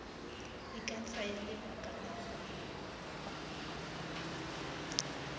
e ka tsaya lebaka la